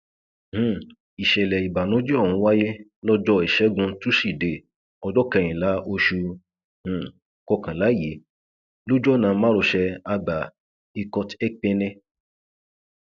um ìṣẹlẹ ìbànújẹ ọhún wáyé lọjọ ìṣẹgun túṣídéé ọjọ kẹrìnlá oṣù um kọkànlá yìí lójú ọnà márosẹ àbá ikoteképené